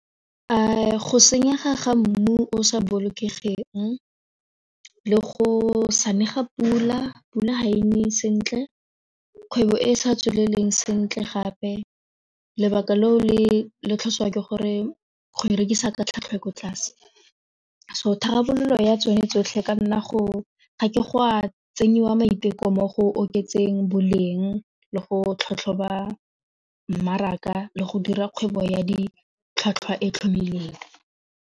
A go senyega ga mmu o sa bolokegeng le go sane ga pula, pula ga ene sentle kgwebo e e sa tswelele sentle gape lebaka leo le tlhotswa ke gore go e rekisa ka tlhwatlhwa e ko tlase so tharabololo ya tsone tsotlhe ka nna ga ke go a tsenyiwa maiteko mo go oketseng boleng le go tlhatlhoba mmaraka le go dira kgwebo ya ditlhwatlhwa e tlhomile.